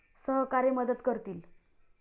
सहकारी मदत करतील.